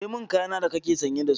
Cire mani kaya na da kake sanye da su!